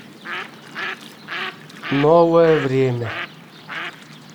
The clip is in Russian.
новое время